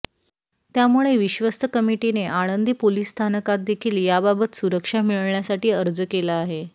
त्यामुळे विश्वस्त कमिटीने आळंदी पोलीस स्थानकात देखील याबाबत सुरक्षा मिळण्यासाठी अर्ज केला आहे